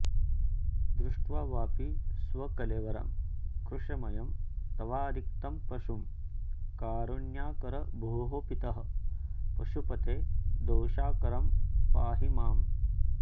दृष्ट्वाऽपि स्वकलेवरं कृशमयं तवारिक्तं पशुं कारुण्याकर भोः पितः पशुपते दोषाकरं पाहि माम्